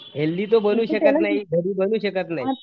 Healthy तो बनवू शकत नाही घरी तो बनवू शकत नाही.